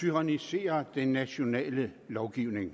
tyranniserer den nationale lovgivning